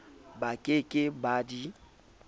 ba ke ke ba di